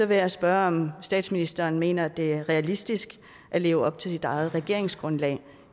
vil jeg spørge om statsministeren mener at det er realistisk at leve op til sit eget regeringsgrundlag